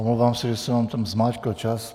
Omlouvám se, že jsem vám tam zmáčkl čas.